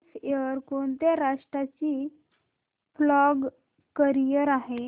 gulf Air कोणत्या राष्ट्राची flag carrier आहे